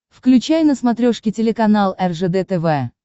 включай на смотрешке телеканал ржд тв